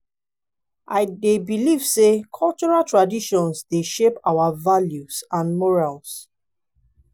i dey believe say cultural traditions dey shape our values and morals.